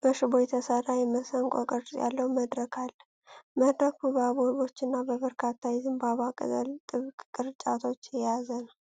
በሽቦ የተሰራ የመሰንቆ ቅርጽ ያለው መድረክ አለ። መድረኩ በአበቦች እና በበርካታ የዘንባባ ቅጠል ጥብቅ ቅርጫቶች ያጌጠ ነው።